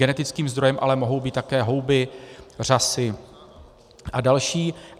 Genetickým zdrojem ale mohou být také houby, řasy a další.